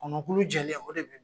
Kɔnɔkulu jɛlen o de